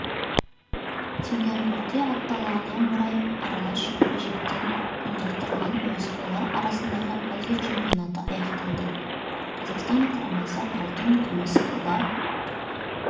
сингапурде апталығына орай аралас жекпе-жектен ұйымдастырылған әуесқойлар арасындағы азия чемпионаты аяқталды қазақстан құрамасы алтын күміс қола